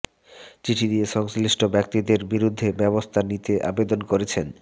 চিঠি দিয়ে সংশ্লিষ্ট ব্যক্তিদের বিরুদ্ধে ব্যবস্থা নিতে আবেদন করেছেন